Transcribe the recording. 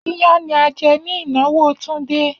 Iyán ní a jẹ ní ìnáwó Túndé.